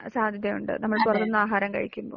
സാധിക്കുന്നുണ്ട്. നമ്മൾ പുറത്തു നിന്ന് ആഹാരം കഴിക്കുമ്പോൾ.